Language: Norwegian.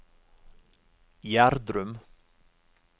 Gjerdrum